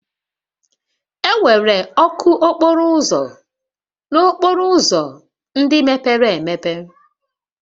Enwere ọkụ okporo ụzọ n'okporo ụzọ ndị mepere emepe